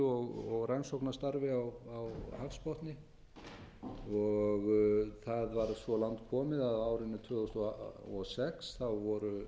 og rannsóknarstarfi á hafsbotni það var svo langt komið á árinu tvö þúsund og sex þá